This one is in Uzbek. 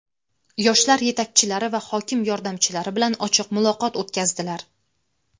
yoshlar yetakchilari va hokim yordamchilari bilan ochiq muloqot o‘tkazdilar.